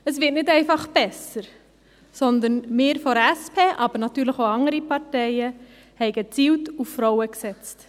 Es wird nicht einfach besser, sondern wir von der SP, aber natürlich auch andere Parteien, haben gezielt auf Frauen gesetzt.